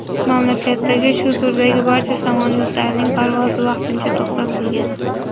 Mamlakatdagi shu turdagi barcha samolyotlarning parvozi vaqtincha to‘xtatilgan.